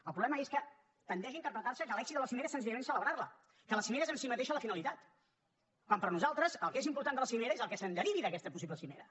el problema és que tendeix a interpretar se que l’èxit de la cimera és senzillament celebrar la que la cimera és en si mateixa la finalitat quan per nosaltres el que és important de la cimera és el que se’n derivi d’aquesta possible cimera